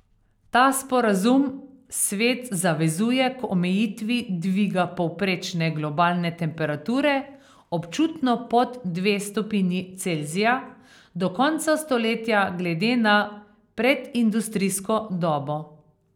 Ta sporazum svet zavezuje k omejitvi dviga povprečne globalne temperature občutno pod dve stopinji Celzija do konca stoletja glede na predindustrijsko dobo.